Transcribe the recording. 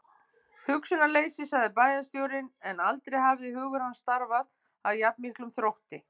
Hugsunarleysi sagði bæjarstjórinn, en aldrei hafði hugur hans starfað af jafn miklum þrótti.